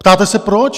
Ptáte se, proč?